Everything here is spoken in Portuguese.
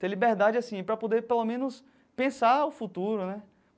Ter liberdade, assim, para poder, pelo menos, pensar o futuro, né?